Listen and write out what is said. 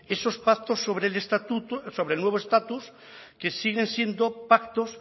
esos pactos sobre el estatuto sobre el nuevo estatus que siguen siendo pactos